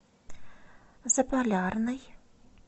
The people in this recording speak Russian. заполярный